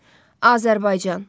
Azərbaycan.